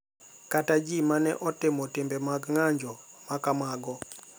kata ji ma ne otimo timbe mag ng’anjo ma kamago